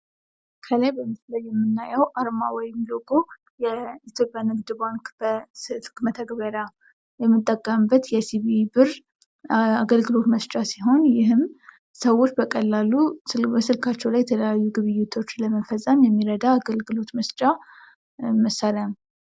ከላይ በምስሉ ላይ የምናየው አርማ ወይም ሎጎ የኢትዮጵያ ንግድ ባንክ በስልክ መተግበርያ የምንጠቀምበት የሲቢኢ ብር አገልግሎት መስጫ ሲሆን ይህም ሰዎች በቀላሉ ስልካቸው ላይ የተለያዩ ግብይቶች ለመፈጸም የሚረዳ አገልግሎት መስጫ መሳሪያ ነው።